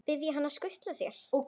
Biðja hann að skutla sér?